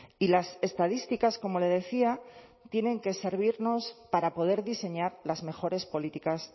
y las estadísticas como le decía tienen que servirnos para poder diseñar las mejores políticas